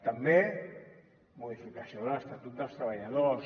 també modificació de l’estatut dels treballadors